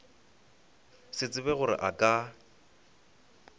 se tsebe gore a ka